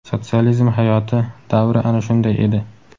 Sotsializm hayoti, davri ana shunday edi.